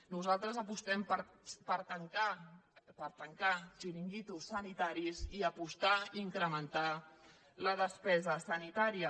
nosaltres apostem per tancar xiringuitos sanitaris i apostar i incrementar la despesa sanitària